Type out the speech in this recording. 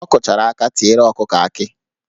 Ọ kụchara aka tiela ọkụkọ akị